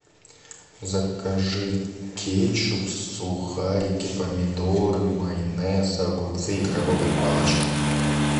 закажи кетчуп сухарики помидоры майонез огурцы и крабовые палочки